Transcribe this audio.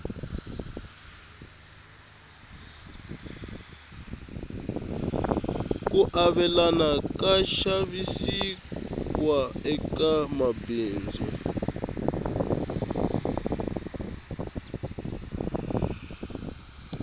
ku avelana ka xavisiwa eka mabindzu